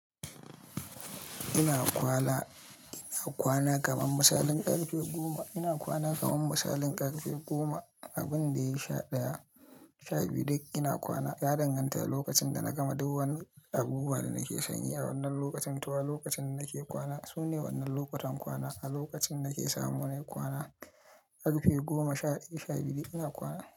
Ina kwana, ina kwana kaman misalin ƙarfe goma. Ina kwana kaman misalin ƙarfe goma. Abin da ya yi sha ɗaya, sha biyu duk ina kwana. Ya danganta da lokacin da na gama duk wani abu ba da nake san yi a wannan lokacin. To a lokacin nake kwana sune wannan lokutan kwana a lokacin nake samu na yi kwana. Ƙarfe goma sha ɗaya, sha biyu ina kwana.